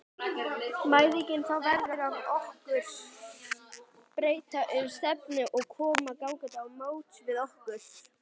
Mæðginin fá veður af okkur, breyta um stefnu og koma gangandi á móts við okkur.